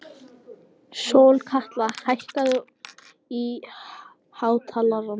Sólkatla, hækkaðu í hátalaranum.